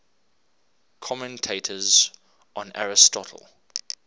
commentators on aristotle